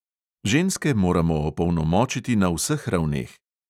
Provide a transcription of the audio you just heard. Ženske moramo opolnomočiti na vseh ravneh.